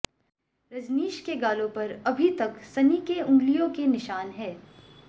रजनीश के गालों पर अभी तक सनी के उंगलियों के निशान हैं